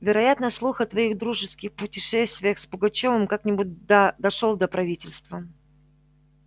вероятно слух о твоих дружеских путешествиях с пугачёвым как-нибудь да дошёл до правительства